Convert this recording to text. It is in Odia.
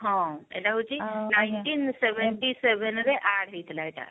ହଁ ଏଇଟା ହଉଛି nineteen seventy seven ରେ add ହେଇଥିଲା ଆମର